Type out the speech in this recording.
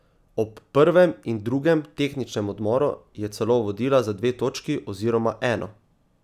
Ob prvem in drugem tehničnem odmoru je celo vodila za dve točki oziroma eno.